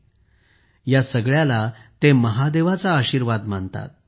ते या सगळ्याला महादेवाचा आशीर्वाद मानतात